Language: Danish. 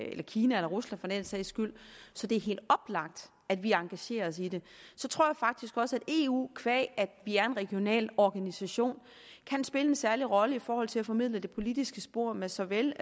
eller kina eller rusland for den sags skyld så det er helt oplagt at vi engagerer os i det så tror jeg faktisk også at eu qua at vi er en regional organisation kan spille en særlig rolle i forhold til at formidle det politiske spor med såvel